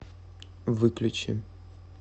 выключи